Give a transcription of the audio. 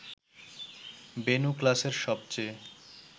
বেণু ক্লাসের সবচেয়ে